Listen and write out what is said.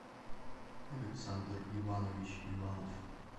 александр иванович иванов